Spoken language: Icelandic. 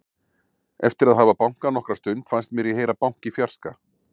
Eftir að hafa bankað nokkra stund fannst mér ég heyra bank í fjarska.